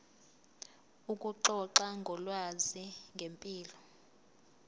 ukuxoxa ngolwazi ngempilo